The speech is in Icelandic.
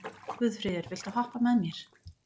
Guðfríður, viltu hoppa með mér?